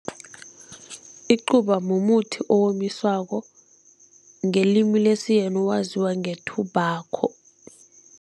Icuba mumuthi owomiswako, ngelimi lesiyeni waziwa nge-tobacco.